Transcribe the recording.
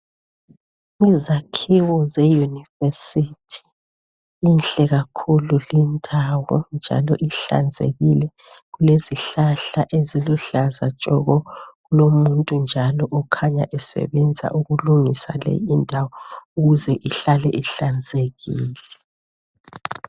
Izakhiwo zeyunivesithi inhle kakhulu lindawo njalo ihlanzekile kulezihlahla eziluhlaza tshoko kulomuntu njalo okhanya esebenza ukulungisa le indawo ukuze ihlale ihlanzekile.